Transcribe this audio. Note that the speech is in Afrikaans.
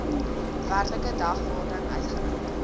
werklike dagvaarding uitgereik